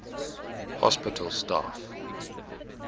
hospital staff e